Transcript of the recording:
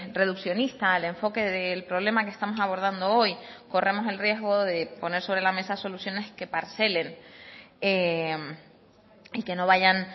reduccionista al enfoque del problema que estamos abordando hoy corremos el riesgo de poner sobre la mesa soluciones que parcelen y que no vayan